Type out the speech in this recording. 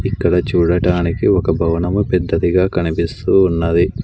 ఇక్కడ చూడటానికి ఒక భవనము పెద్దదిగా కనిపిస్తూ ఉన్నది.